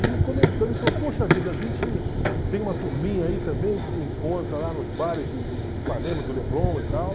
E comentando, ele falou, poxa vida, a gente tem uma turminha aí também que se encontra lá nos bares de de de Ipanema, do Leblon e tal.